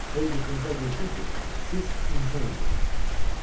Qoy yuxunuza girsin ki, siz insan öldürmüsünüz."